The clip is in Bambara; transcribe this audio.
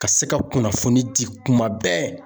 Ka se ka kunnafoni di kuma bɛɛ.